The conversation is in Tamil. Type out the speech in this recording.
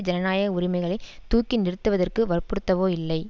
ஜனநாயக உரிமைகளை தூக்கி நிறுத்துவதற்கு வற்புறுத்தவோ இல்லை